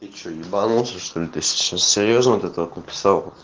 ты что ебонулся что-ли ты сейчас серьёзно вот это вот написал